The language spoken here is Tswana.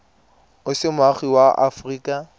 o se moagi wa aforika